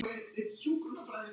Litlu börnin róa kort.